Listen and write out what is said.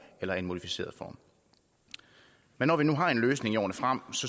eller i en modificeret form men når vi nu har en løsning i årene frem